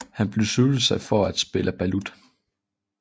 Han besluttede sig for at kalde spillet balut